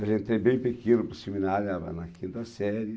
Eu entrei bem pequeno para o seminário, era na quinta série.